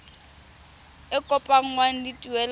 e kopanngwang le tuelo ya